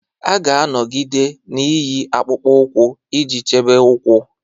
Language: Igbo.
A ga-anọgide na-eyi akpụkpọ ụkwụ iji chebe ụkwụ.